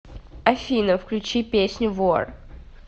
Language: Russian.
афина включи песню вор